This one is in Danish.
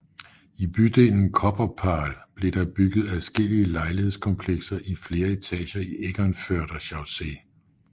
I bydelen Kopperpahl blev der bygget adskillige lejlighedskomplekser i flere etager i Eckernförder Chaussee